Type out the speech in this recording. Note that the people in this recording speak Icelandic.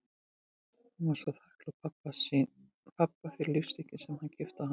Hún var svo þakklát pabba fyrir lífstykkin sem hann keypti á hana í